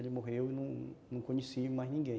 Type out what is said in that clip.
Ele morreu e eu não não conheci mais ninguém.